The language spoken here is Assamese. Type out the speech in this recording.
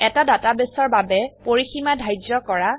এটা ডাটাবেসৰ বাবে পৰিসীমা ধাৰ্য কৰা